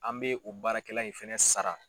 An bɛ o baarakɛla in fɛnɛ sara.